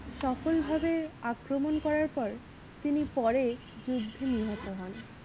সকল ভাবে আক্রমণ করার পর তিনি পরেই যুদ্ধ নিহত হন।